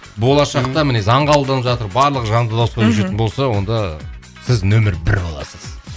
болашақта міне заң қабылданып жатыр барлық жанды дауыста көшетін болса онда сіз нөмір бір боласыз